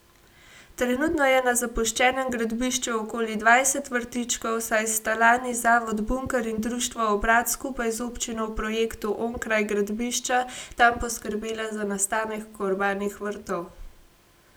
Trenutno je na zapuščenem gradbišču okoli dvajset vrtičkov, saj sta lani Zavod Bunker in društvo Obrat skupaj z občino v projektu Onkraj gradbišča tam poskrbela za nastanek urbanih vrtov.